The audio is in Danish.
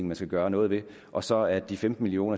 man skal gøre noget ved og så er de femten million